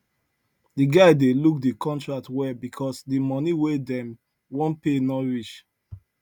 the guy dey look the contract well because the money wey dem wan pay no reach